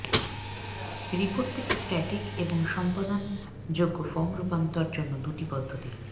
report থেকে static এবং সম্পাদনযোগ্য ফরম রূপান্তর জন্য দুটি পদ্ধতি